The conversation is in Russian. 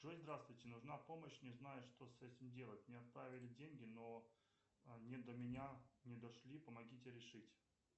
джой здравствуйте нужна помощь не знаю что с этим делать мне отправили деньги но они до меня не дошли помогите решить